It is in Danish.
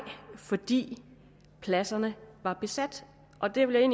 fordi pladserne var besat og det vil jeg